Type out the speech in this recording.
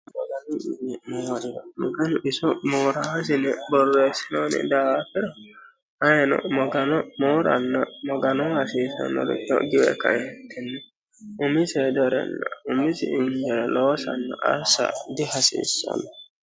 maganu mine moora maganu iso mooraaasini borreessinooni daafira ayiino magano mooranna maganoo hasiisannorio giwe kaentinni umisi hedorenna umisi hedorenna umisi injoore loosanna assa dihasiissanno